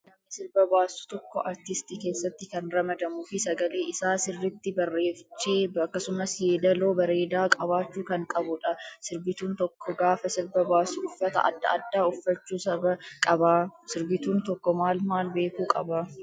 Namni sirba baasu tokko artisitii keessatti kan ramadamuu fi sagalee isaa sirriitti bareechee akkasumas yeedaloo bareedaa qabaachuu kan qabudha. Sirbituun tokko gaafa sirba baasu uffata adda addaa uffachuu qaba. Sirbituun tokko maal maal beekuu qaba?